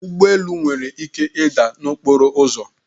Ụgbọ elu nwere ike ịda n'okporo ụzọ